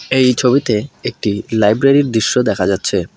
এই ছবিতে একটি লাইব্রেরীর দৃশ্য দেখা যাচ্ছে।